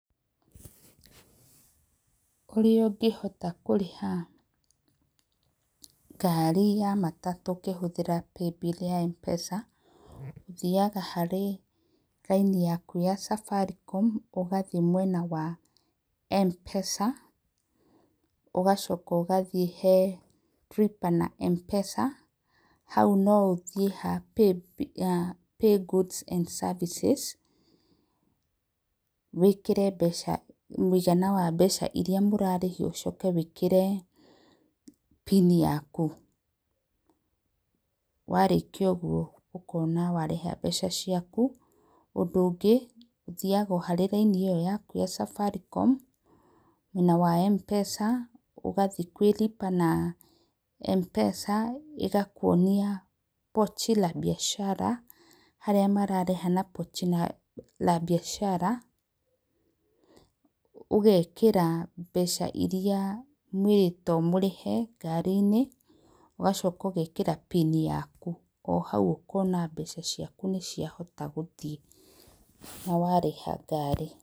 Ũrĩa ũngĩhota kũrĩha ngari ya matatũ ũkĩhũthĩra Mpesa, ũthiaga harĩ raini yaku ya Safaricom, ũgathiĩ mwena wa Mpesa ũgacoka ũgathiĩ he Lipa na Mpesa, hau no ũthiĩ ha Pay Goods and Services wĩkĩre mbeca mũigana wa mbeca iria mũrarĩhio ũcoke wĩkĩre pini yaku, warĩkia ũguo ũkona warĩha mbeca ciaku, ũndũ ũthiaga o harĩ raini ĩyo yaku ya Safaricom mwena wa Mpesa ũgathiĩ kwĩ Lipa na Mpesa ĩgakwonia Pochi La Biashara harĩa mararĩha na Pochi La Biashara ũgekĩra mbeca iria mwĩrĩtwo mũrĩhe ngari-inĩ ũgacoka ũgekĩra pini yaku oro hau ũkona mbeca ciaku nĩ cia rĩkia gũthiĩ na warĩha ngari.